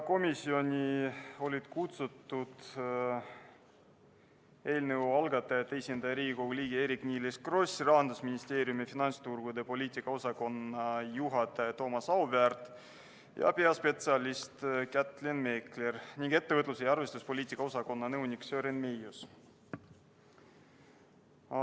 Komisjoni olid kutsutud eelnõu algatajate esindaja, Riigikogu liige Eerik-Niiles Kross, Rahandusministeeriumi finantsturgude poliitika osakonna juhataja Toomas Auväärt ja peaspetsialist Kätlin Meekler ning ettevõtluse ja arvestuspoliitika osakonna nõunik Sören Meius.